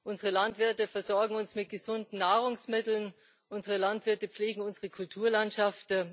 Unsere Landwirte versorgen uns mit gesunden Nahrungsmitteln, unsere Landwirte pflegen unsere Kulturlandschaft.